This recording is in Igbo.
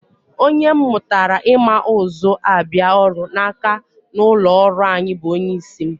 Onye m mụtara ịma ụzọ abịa ọrụ n'aka n'ụlọọrụ anyị bụ onyeisi m